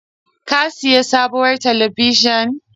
Ka sayi sabuwar talabijin?